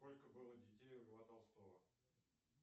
сколько было детей у льва толстого